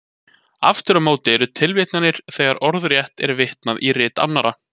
Aftur á móti eru tilvitnanir þegar orðrétt er vitnað í rit annarra.